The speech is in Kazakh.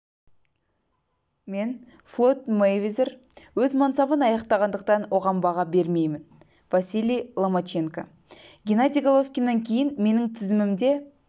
мен флойд мэйвезер өз мансабын аяқтағандықтан оған баға бермеймін василий ломаченко геннадий головкиннен кейін менің тізімімде